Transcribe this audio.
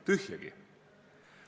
Tühjagi!